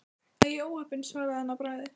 Æi, óheppin svaraði hann að bragði.